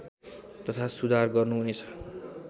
तथा सुधार गर्नुहुनेछ